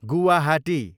Guwahati